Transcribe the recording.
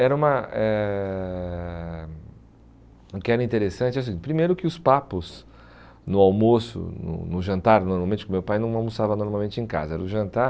Era uma... Eh o que era interessante, assim, primeiro que os papos no almoço, no no jantar, normalmente, porque meu pai não almoçava normalmente em casa, era o jantar...